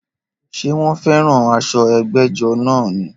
Ṣé wọ́n fẹ́ràn aṣọ ẹgbẹ́jọ́ náà ni?